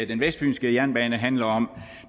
den vestfynske jernbane handler om